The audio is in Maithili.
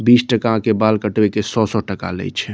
बिस टका के बाल कटई के सो-सो टका लेइ छे |